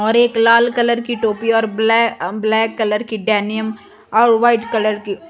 और एक लाल कलर की टोपी और ब्लै ब्लैक कलर की डेनिम और वाइट कलर की --